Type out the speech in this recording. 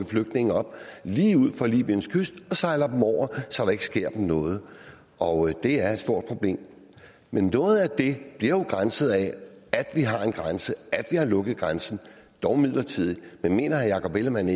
flygtninge op lige ud for libyens kyst og sejle dem over så der ikke sker dem noget og det er et stort problem noget af det bliver jo begrænset af at vi har en grænse at vi har lukket grænsen dog midlertidigt men mener herre jakob ellemann